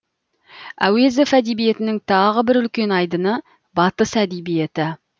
әуезов әдебиетінің тағы бір үлкен айдыны батыс әдебиеті